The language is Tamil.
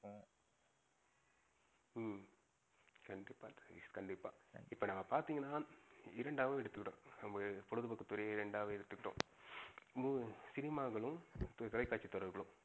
ஹம் கண்டிப்பா சதீஷ் கண்டிப்பா. இப்ப நம்ப பாத்திங்கனா இரெண்டகா எடுத்துவிடும். நம்பளோட பொழுதுபோக்குத்துறையே இரெண்டகா எடுத்துகிட்டோம். சினிமாலையும், தொலைகாட்சி தொடர்ளையும்.